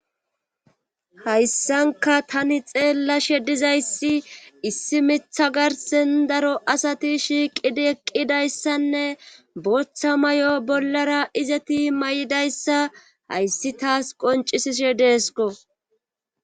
Hayssanka tani xeella shedizayssi issi mitha garsen daro asati shiiqidi eqqidayssanne booththa may7o bollara izeti may7idayssa hayssi taas qoncisi shedeesko.